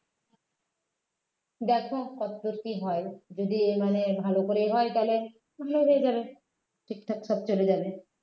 দেখো কতদূর কী হয় যদি মানে ভালো করে হয় তাহলে ভালো হয়ে যাবে ঠিকঠাক সব চলে যাবে